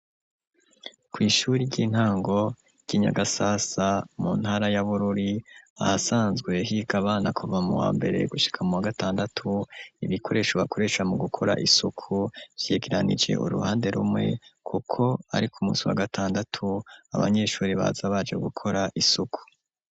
Kw'ishuri ry'intango ry'inyagasasa mu ntara ya Bururi ahasanzwe higa bana kuva mu wa mbere gushika mu wa gatandatu, ibikoresho bakoresha mu gukora isuku vyegeranije uruhande rumwe kuko ariko umunsi wa gatandatu abanyeshuri baza baje gukora isuku.